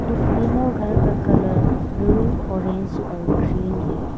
इस तीनों घर का कलर ब्लू औरेंज और ग्रीन है।